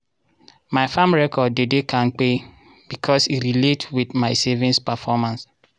my farm record dey de kampe becos e relate with my savings performance.